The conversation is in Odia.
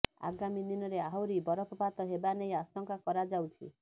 ଆଗାମୀ ଦିନରେ ଆହୁରି ବରଫପାତ ହେବା ନେଇ ଆଶଙ୍କା କରାଯାଉଛି